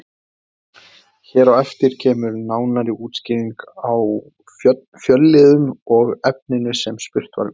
Hér á eftir kemur nánari útskýring á fjölliðum og efninu sem spurt var um.